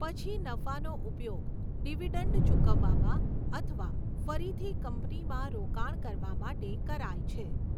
પછી નફાનો ઉપયોગ ડિવિડન્ડ ચૂકવવામાં અથવા ફરીથી કંપનીમાં રોકાણ કરવા માટે કરાય છે.